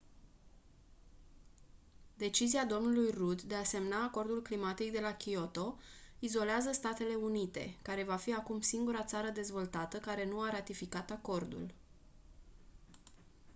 decizia dlui rudd de a semna acordul climatic de la kyoto izolează statele unite care va fi acum singura țară dezvoltată care nu a ratificat acordul